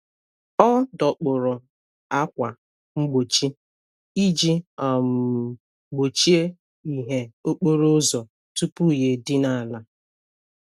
Ọ dọkpụrụ ákwà mgbochi iji um gbochie ìhè okporo ụzọ tupu ya edina ala.